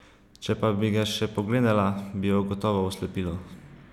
Če pa bi ga še pogledala, bi jo gotovo oslepilo.